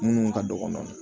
Munnu ka dɔgɔ nɔfɛ